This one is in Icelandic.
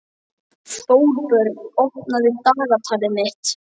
Þórbjörn, opnaðu dagatalið mitt.